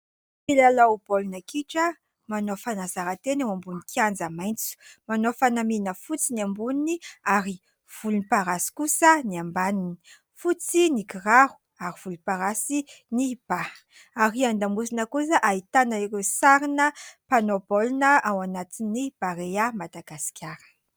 Mpilalao baolina kitra, manao fanazaran-tena eo ambonin'ny kianja maitso. Manao fanamiana fotsy ny amboniny ary volomparasy kosa ny ambaniny. Fotsy ny kiraro ary volomparasy ny ba, ary an-damosina kosa ahitana ireo sarina mpanao baolina ao anatin'ny Barea Madagasikara.